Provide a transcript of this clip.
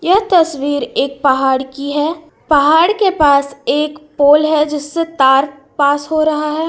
यह तस्वीर एक पहाड़ की है पहाड़ के पास एक पोल है जिससे तार पास हो रहा है।